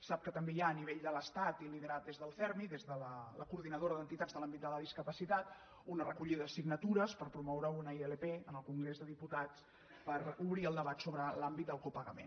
sap que també hi ha a nivell de l’estat i liderat des del cermi des de la coordinadora d’entitats de l’àmbit de la discapacitat una recollida de signatures per promoure una ilp en el congrés de diputats per obrir el debat sobre l’àmbit del copagament